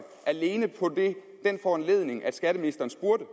alene på foranledning af at skatteministeren spurgte